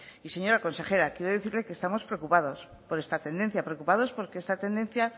y señora consejera quiero decirle que estamos preocupados por esta tendencia preocupados porque esta tendencia